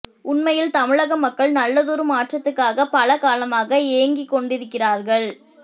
உண்மையில் தமிழக மக்கள் நல்லதொரு மாற்றத்துக்காக பல காலமாக ஏங்கிக் கொண்டிருக்கிறார்கள்